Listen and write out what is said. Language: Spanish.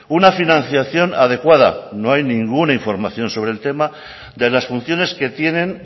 una financiación adecuada no hay ninguna información sobre el tema de las funciones que tienen